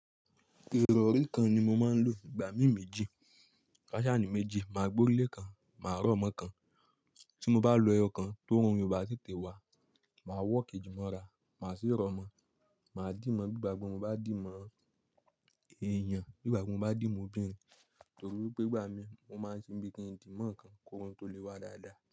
Ìrọ̀rí kan ni mo máa ń lò nígbà mí méjì. Faṣani méjì, máa gbo ilé kan, máa rọ̀ mọ́ kan. Tí mo bá lo ẹyọ kan tó ń rún Ìbà títè wá, màá wọ kejìmọ́ra, màá sì rọ̀ mọ́, màá dìímọ̀ bí ìgbàgbọ́ mi bá dì mọ́ èèyàn, bí ìgbàgbọ́ mi bá dì mọ́ obìnrin. Nítorí pé ìgbà mí, mo máa ń ṣe bí i kí n dì mọ́ ǹkan kó rún tó lè wá dáadáa.